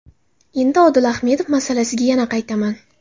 Endi Odil Ahmedov masalasiga yana qaytaman.